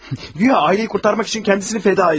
Guya ailəni xilas etmək üçün özünü fəda edir.